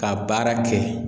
Ka baara kɛ.